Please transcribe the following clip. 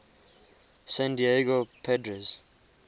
san diego padres